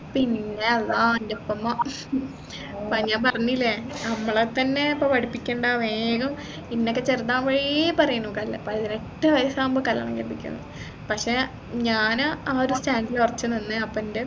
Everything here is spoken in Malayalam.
പിന്നെ അള്ളാഹ് അൻറെ ഉപ്പ ഉമ്മ എ പറഞ്ഞില്ലേ നമ്മളെ തന്നെ ഇപ്പൊ പഠിപ്പിക്കണ്ട വേഗം എന്നൊക്കെ ചെറുതാവുമ്പോയെ പറയുന്നു കൽ പതിനെട്ട് വയസ്സാവുമ്പോ കല്യാണം കഴിപ്പിക്കുമെന്ന് പക്ഷേ ഞാൻ ആ ഒരു stand ൽ ഉറച്ചു നിന്ന് അപ്പോ എൻെറ